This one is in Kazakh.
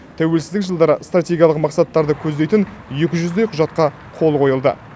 тәуелсіздік жылдары стратегиялық мақсаттарды көздейтін екі жүздей құжатқа қол қойылды